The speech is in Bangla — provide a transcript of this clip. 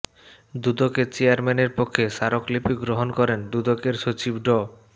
দুদকের চেয়ারম্যানের পক্ষে স্মারকলিপি গ্রহণ করেন দুদকের সচিব ড